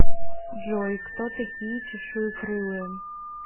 джой кто такие чешуекрылые